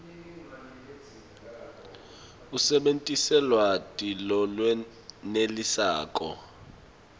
usebentise lwati lolwenetisako